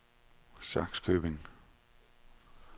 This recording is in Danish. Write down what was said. Sakskøbing